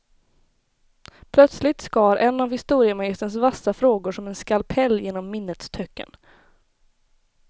Plötsligt skar en av historiemagisterns vassa frågor som en skalpell genom minnets töcken.